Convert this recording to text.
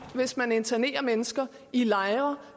hvis man internerer mennesker i lejre